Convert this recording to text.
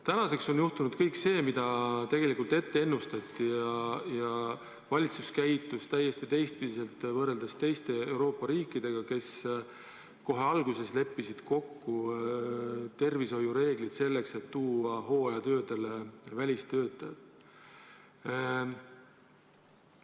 Tänaseks on juhtunud kõik see, mida tegelikult ette ennustati, ja valitsus on käitunud täiesti vastupidi kui teised Euroopa riigid, kes kohe alguses leppisid kokku tervishoiureeglid, kuidas hooajatöödele välistöötajaid tuua.